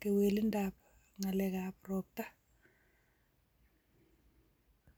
kewelinwek ab ropta.